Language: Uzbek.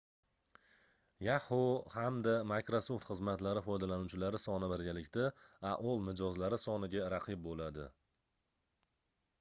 yahoo hamda microsoft xizmatlari foydalanuvchilari soni birgalikda aol mijozlari soniga raqib boʻladi